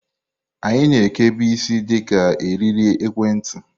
Anyị na ekebu isi di ka eriri ekwentị.